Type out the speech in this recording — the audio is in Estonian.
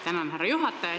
Tänan, härra juhataja!